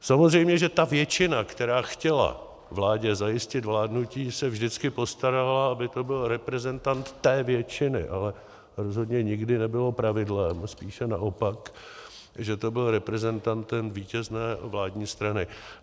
Samozřejmě, že ta většina, která chtěla vládě zajistit vládnutí, se vždycky postarala, aby to byl reprezentant té většiny, ale rozhodně nikdy nebylo pravidlem, spíše naopak, že to byl reprezentant vítězné vládní strany.